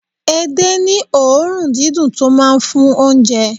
Ede ní òórùn dídùn tó máa ń fún oúnjẹ.